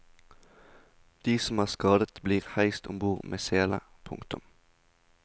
De som er skadet blir heist om bord med sele. punktum